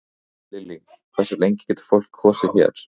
Lillý: Hversu lengi getur fólk kosið hér?